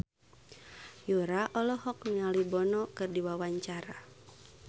Yura olohok ningali Bono keur diwawancara